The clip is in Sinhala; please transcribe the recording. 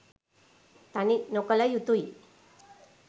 තනි නොකළ යුතුයි